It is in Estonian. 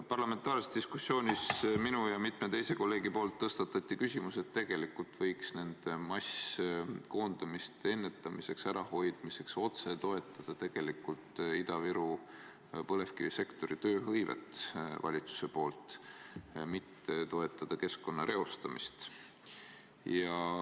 Parlamentaarses diskussioonis mina ja mitu teist kolleegi tõstatasime küsimuse, et tegelikult võiks masskoondamiste ärahoidmiseks valitsus otse toetada Ida-Viru põlevkivisektori tööhõivet ja mitte toetada keskkonna reostamist.